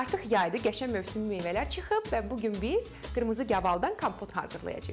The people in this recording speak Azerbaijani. Artıq yaydır, qəşəng mövsüm meyvələr çıxıb və bu gün biz qırmızı gavaldan kompot hazırlayacağıq.